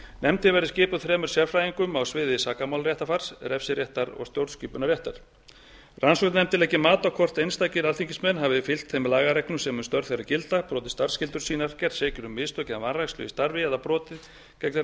nefndin verði skipuð þremur sérfræðingum á sviði sakamálaréttarfars refsiréttar og stjórnskipunarréttar rannsóknarnefndin leggi mat á hvort einstakir alþingismenn hafi fylgt þeim lagareglum sem um störf þeirra gilda brotið starfsskyldur sínar gerst sekir um mistök eða vanrækslu í starfi eða brotið gegn